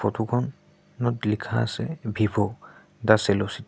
Photo খন নত লিখা আছে ভিভো ডা চেলো চিটী ।